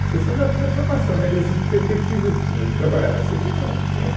A questão da da formação, né, quer dizer assim, que perspectiva eu tinha de trabalhar na Cê ê tê, não, não tinha.